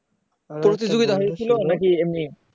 পরীক্ষা দিতে হয়েছিল নাকি এমনি